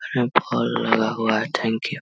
यहाँ बॉल लगा हुआ है थैंक यू ।